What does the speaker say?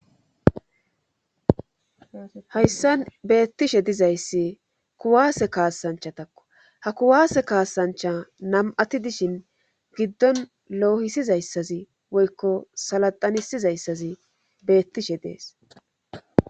hayssan beettishe dizayssi kuwaase kaasanchatakko ha kuwaase kaasancha nam'ati dishin giddon loohisizayssazi woykko salaxanisizayssazi beettishe dees